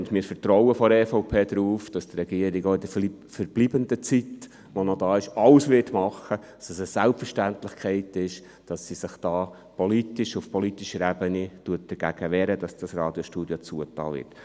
Wir von der EVP vertrauen darauf, dass die Regierung auch in der verbleibenden Zeit alles tun wird und es eine Selbstverständlichkeit ist, dass sie sich auf politischer Ebene gegen die Schliessung dieses Radiostudios wehrt.